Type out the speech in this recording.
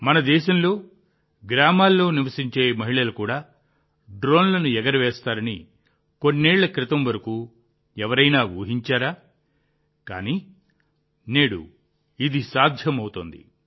మన దేశంలో గ్రామాల్లో నివసించే మహిళలు కూడా డ్రోన్లను ఎగురవేస్తారని కొన్నేళ్ల క్రితం వరకు ఎవరైనా ఊహించారా కానీ నేడు ఇది సాధ్యమవుతోంది